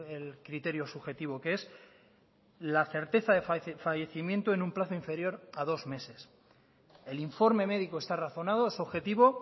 el criterio subjetivo que es la certeza de fallecimiento en un plazo inferior a dos meses el informe médico está razonado es objetivo